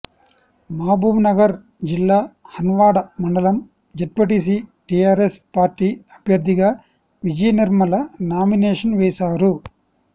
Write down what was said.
మహబూబ్నగర్ జిల్లా హన్వాడ మండలం ZPTC TRS party అభ్యర్థిగా విజయ నిర్మల నామినేషన్ వేశారు